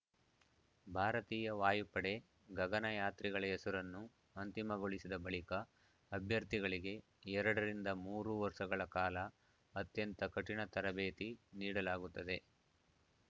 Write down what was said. ಭಾರತೀಯ ವಾಯುಪಡೆ ಗಗನಯಾತ್ರಿಗಳ ಹೆಸರನ್ನು ಅಂತಿಮಗೊಳಿಸಿದ ಬಳಿಕ ಅಭ್ಯರ್ಥಿಗಳಿಗೆ ಎರಡರಿಂದ ಮೂರು ವರ್ಷಗಳ ಕಾಲ ಅತ್ಯಂತ ಕಠಿಣ ತರಬೇತಿ ನೀಡಲಾಗುತ್ತದೆ